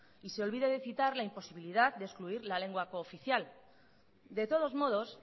y se olvida de citar la imposibilidad de excluir la lengua cooficial de todos modos